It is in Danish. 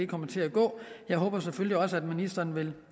kommer til at gå jeg håber selvfølgelig også at ministeren vil